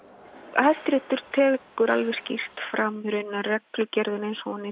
Hæstiréttur tekur alveg skýrt fram að reglugerðin eins og hún er